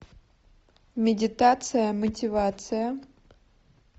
медитация мотивация